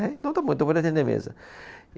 É então está bom, então pode atender mesa.